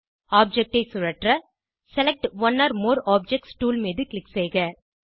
object ஐ சுழற்ற select one or more objects tool மீது க்ளிக் செய்க